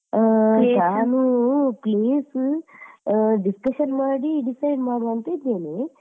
ಹ್ಮ್ plan ಉ place ಉ ಅಹ್ discussion ಮಾಡಿ decide ಮಾಡ್ವಾ ಅಂತ ಇದ್ದೇನೆ.